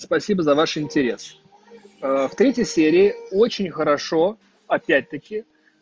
спасибо за ваш интерес в третьей серии очень хорошо опять-таки